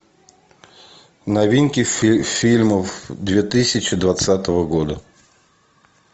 новинки фильмов две тысячи двадцатого года